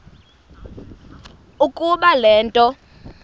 ukuba le nto